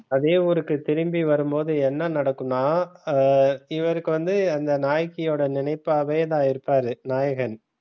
அதே ஊருக்கு திரும்பி வரும்போது என்ன நடக்கும்ன ஹம் இவருக்கு வந்து அந்த நாயகியோட நினைப்பாவே தான் இருப்பாரு நாயகன்.